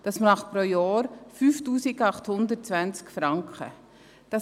Das sind 5820 Franken pro Jahr.